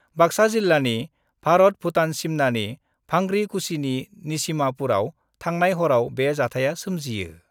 बाक्सा जिल्लानि भारत-भुटान सिमनानि भांग्रिकुसिनि निसिमापुरआव थांनाय हराव बे जाथाया सोमजियो।